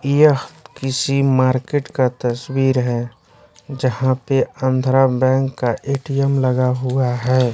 यह किसी मार्केट का तस्वीर है जहां पे आंध्रा बैंक का एटीएम लगा हुआ है।